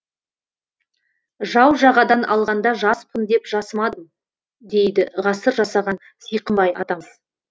жау жағадан алғанда жаспын деп жасымадым дейді ғасыр жасаған сиқымбай атамыз